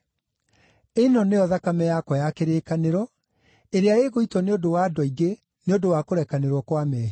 Ĩno nĩyo thakame yakwa ya kĩrĩkanĩro, ĩrĩa ĩgũitwo nĩ ũndũ wa andũ aingĩ nĩ ũndũ wa kũrekanĩrwo kwa mehia.